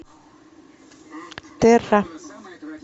терра